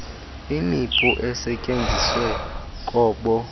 imipu esetyenziswe kobo